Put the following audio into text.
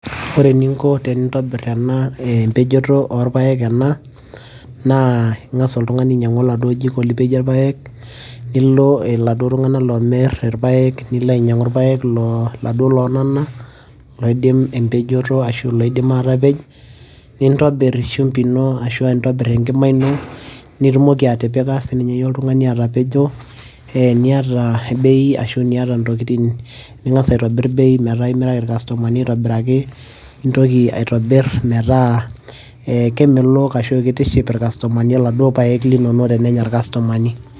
ore eninko tenintobirr ena empejoto orpayek ena naa ing'as oltung'ani oladuo jiko lipejie irpayek nilo iladuo tung'anak lomirr irpayek loo laduo lonana loidim empejoto ashu loidim atapej nintobirr shumbi ino ashua intobirr enkima nitumoki atipika sininye iyie oltung'ani atapejo eh, niata bei ashua niata ntokitin ning'as aitobirr bei metaa imiraki irkastomani aitobiraki nintoki aitobirr metaa eh kemelok ashu kitiship irkastomani iladuo payek linonok tenenya irkastomani.